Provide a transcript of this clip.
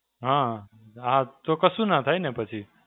હાં, હાં, તો કશું ના થાય ને પછી.